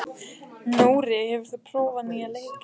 Nóri, hefur þú prófað nýja leikinn?